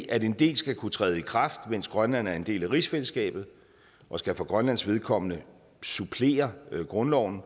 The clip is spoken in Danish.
at en del skal kunne træde i kraft mens grønland er en del af rigsfællesskabet og skal for grønlands vedkommende supplere grundloven